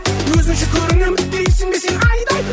өзінше көрінемін дейсің бе сен айдай